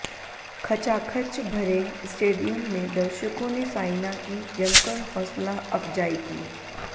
खचाखच भरे स्टेडियम में दर्शकों ने साइना की जमकर हौसलाअफजाई की